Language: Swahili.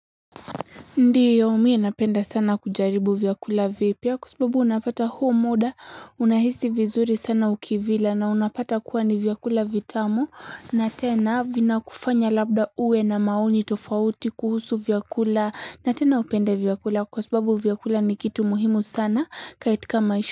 Ndio, mi napenda sana kujaribu vyakula vipya kwa sababu unapata huo muda unahisi vizuri sana ukivila na unapata kuwa ni vyakula vitamu na tena vina kufanya labda uwe na maoni tofauti kuhusu vyakula na tena upende vyakula kwa sababu vyakula ni kitu muhimu sana kaitika maisha.